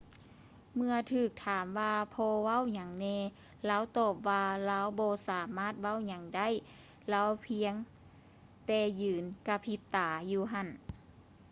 ເມື່ອຖືກຖາມວ່າພໍ່ເວົ້າຫຍັງແນ່ ລາວຕອບວ່າ ລາວບໍ່ສາມາດເວົ້າຫຍັງໄດ້ ລາວພຽງແຕ່ຢືນກະພິບຕາຢູ່ຫັ້ນ